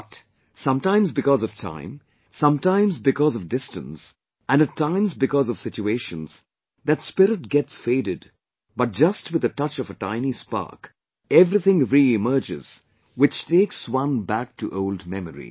But, sometimes because of time, sometimes because of distance and at times because of situations that spirit gets faded but just with a touch of a tiny spark, everything reemerges which takes one back to old memories